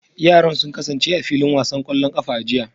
Yaran sun kasance a filin wasan kwallon kafa a jiya